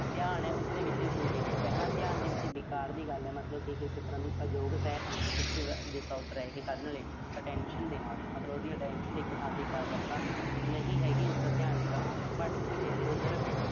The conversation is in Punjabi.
ਧਿਆਨ ਆ ਉਸਦੇ ਵਿੱਚ ਕੋਈ ਦਿੱਕਤ ਆ ਹਨਾ। ਧਿਆਨ ਦੇ ਵਿੱਚ ਵਿਕਾਰ ਦੀ ਗੱਲ ਆ। ਮਤਲਬ ਕਿ ਕਿਸੇ ਤਰ੍ਹਾਂ ਦੀ ਅਯੋਗਤਾ ਇੱਕ disorder ਆ ਇਹੇ attention ਦੇ ਨਾਲ। ਮਤਲਬ ਉਹਦੀ attention ਇੱਕ ਥਾਂ ਤੇ ਇਕਾਗਰਤਾ ਨਹੀਂ ਹੈਗੀ। ਉਸਦਾ ਧਿਆਨ ਜਿਹੜਾ ਭਟਕ ਰਿਹਾ, ਇਧਰ-ਉਧਰ।